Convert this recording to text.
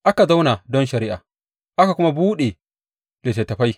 Aka zauna don shari’a, aka kuma buɗe littattafai.